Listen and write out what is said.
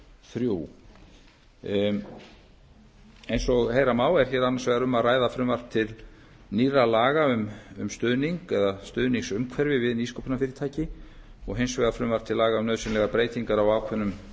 þrjú eins og heyra má er hér annars vegar um að ræða frumvarp til nýrra laga um stuðning eða stuðningsumhverfi við nýsköpunarfyrirtæki og hins vegar frumvarp til laga um nauðsynlegar breytingar á ákveðnum